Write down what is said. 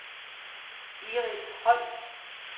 Iris Holst